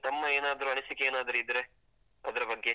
ತಮ್ಮ ಏನಾದ್ರೂ ಅನಿಸಿಕೆ ಏನಾದ್ರೂ ಇದ್ರೆ, ಅದ್ರ ಬಗ್ಗೆ.